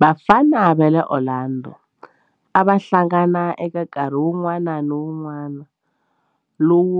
Vafana va le Orlando a va hlangana eka nkarhi wun'wana ni wun'wana lowu